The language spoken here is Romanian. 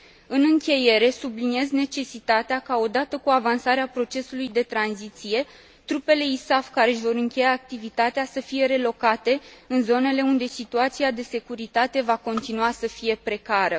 În încheiere, subliniez necesitatea ca, odată cu avansarea procesului de tranziție, trupele ISAF care își vor încheia activitatea să fie relocate în zonele unde situația de securitate va continua să fie precară.